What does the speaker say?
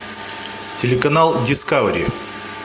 телеканал дискавери